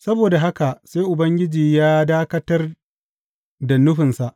Saboda haka sai Ubangiji ya dakatar da nufinsa.